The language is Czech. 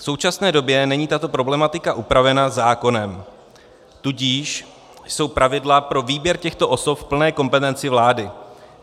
V současné době není tato problematika upravena zákonem, tudíž jsou pravidla pro výběr těchto osob v plné kompetenci vlády.